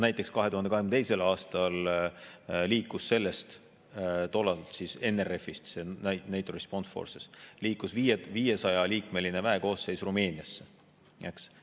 Näiteks, 2022. aastal liikus senisest NRF-ist, NATO Response Force'ist 500-liikmeline väekoosseis Rumeeniasse, eks.